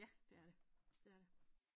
Ja det er det det er det